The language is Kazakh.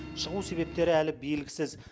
шығу себептері әлі белгісіз